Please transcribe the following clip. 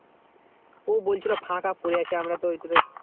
ও বলছিল ফাঁকা পড়ে আছে আমরা তো ওইটা তো